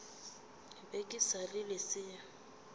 be ke sa le lesea